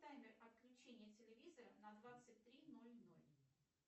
таймер отключения телевизора на двадцать три ноль ноль